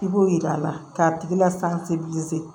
I b'o yira a la k'a tigi lasanpe